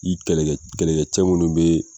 I kɛlɛ kɛ, kɛlɛ kɛ cɛ munnu bɛ.